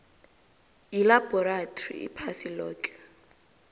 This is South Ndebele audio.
yilabhorathri iphasi loke